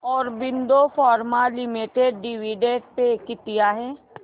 Aurobindo pharma limited dividend pay किती आहे